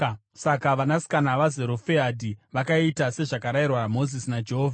Saka vanasikana vaZerofehadhi vakaita sezvakarayirwa Mozisi naJehovha.